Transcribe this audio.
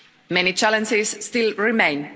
Many challenges still remain.